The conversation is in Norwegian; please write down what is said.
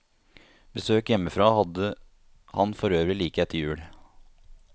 Besøk hjemmefra hadde han forøvrig like etter jul.